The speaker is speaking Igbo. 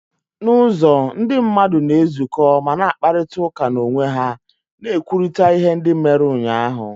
N'ụzọ, ndị mmadụ na-ezukọ ma na-akparịta ụka n'onwe ha, na-ekwurịta ihe ndị mere ụnyaahụ.